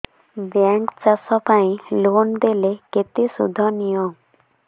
bank ଚାଷ ପାଇଁ loan ଦେଲେ କେତେ ସୁଧ ନିଏ